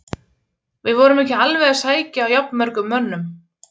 Við vorum ekki alveg að sækja á jafnmörgum mönnum.